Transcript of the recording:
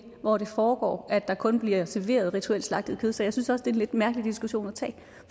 hvor det foregår at der kun bliver serveret rituelt slagtet kød så jeg synes også det lidt mærkelig diskussion at tage